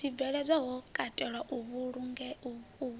zwibveledzwa ho katelwa u fhungudziwa